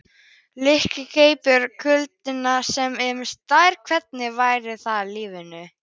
Nikki greip kuldaúlpuna með sér, tvenna vettlinga og þykka húfu.